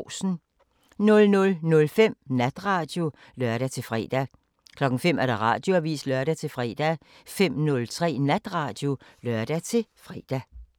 00:05: Natradio (lør-fre) 05:00: Radioavisen (lør-fre) 05:03: Natradio (lør-fre)